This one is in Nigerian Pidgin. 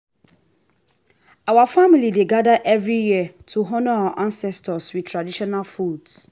our family dey gather every year to honour our ancestors with traditional foods